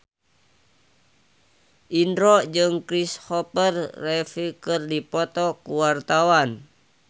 Indro jeung Kristopher Reeve keur dipoto ku wartawan